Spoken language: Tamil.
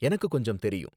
எனக்கு கொஞ்சம் தெரியும்